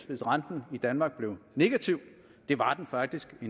hvis renten i danmark blev negativ det var den faktisk i